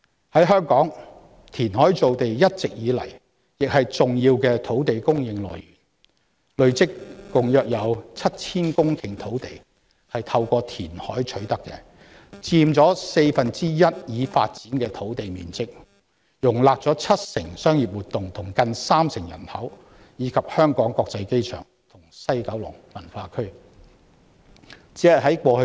在香港，填海造地一直以來是重要的土地供應來源，累積共約 7,000 公頃土地是透過填海取得的，佔已發展的土地面積四分之一，容納了七成商業活動及近三成人口，以及香港國際機場和西九龍文化區。